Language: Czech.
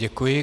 Děkuji.